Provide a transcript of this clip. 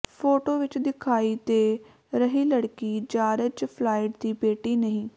photo ਵਿਚ ਦਿਖਾਈ ਦੇ ਰਹੀ ਲੜਕੀ ਜਾਰਜ ਫਲਾਇਡ ਦੀ ਬੇਟੀ ਨਹੀਂ